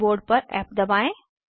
keyboard पर F दबाएं